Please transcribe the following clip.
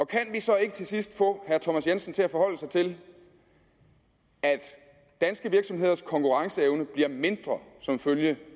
kan vi så ikke til sidst få herre thomas jensen til at forholde sig til at danske virksomheders konkurrenceevne bliver mindre som følge